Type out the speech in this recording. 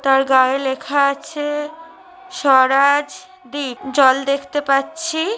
তার গায়ে লেখা আছে স্বরাজ দ্বীপ জল দেখতে পাচ্ছি।